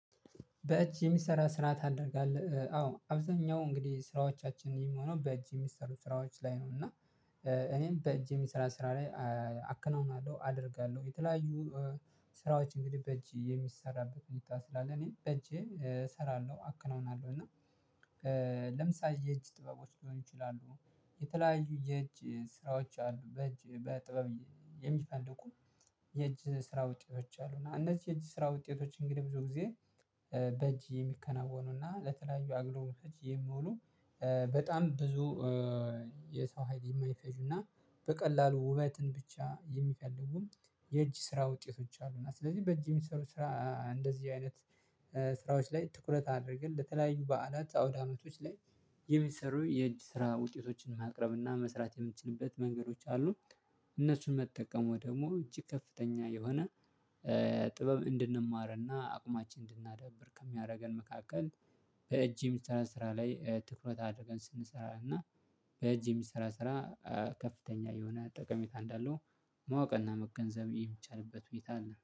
በእጅ የሚሰራ ስራ ታደርጋለህ አዎ አብዛኛው እንግዲህ ስራዎቻችን የሚሆነው በእጅ የሚሰሩ ስራዎች ላይ ነው። እና እኔም በእጅ የሚሰራ ስራ ላይ አከናውናለሁ አደርጋለሁ። የተለያዩ ስራዎች እንግዲህ በእጅ የሚሰራበትን ሁኔታ ስላለ እኔ በእጄ እሰራለሁ አክናውናለሁ እና ለምሳሌ የእጅ ጥበቦች ሊሆኑ ይችላሉ። የተለያዩ የእጅ ስራዎች አሉ በእጅ በጥበብ የሚፈልጉ የእጅ ስራ ውጤቶች አሉ። እና እነዚህ የእጅ ስራ ውጤቶች እንግዲህ ብዙ ጊዜ በእጅ የሚከናወኑና ለተለያዩ አገልግሎቶች የሚሆኑ በጣም ብዙ የሰው ሀይል የማይፈጁና በቀላሉ ውበትን ብቻ የሚፈልጉም የእጅ ስራ ውጤቶች አሉና። ስለዚህ በእጅ የሚሰሩ ስራ እንደዚህ አይነት ስራዎች ላይ ትኩረት አድርገን ለተለያዩ በዓላት አውድ አመቶች ላይ የሚሰሩ የእጅ ስራ ውጤቶችን ማቅረብና መስራት የምትችሉበት መንገዶች አሉ። እነሱን መጠቀም ደግሞ እጅግ ከፍተኛ የሆነ ጥበብ እንድንማርና አቅማችን እንድናዳብር ከሚያደርገን መካከል። በእጅ የሚሰራ ስራ ላይ ትኩረት አድርገን ስንሰራ እና በእጅ የሚሰራ ስራ ከፍተኛ የሆነ ጠቀሜታ እንዳለው ማወቅና መገንዘብ የሚቻልበት ሁኔታ አለ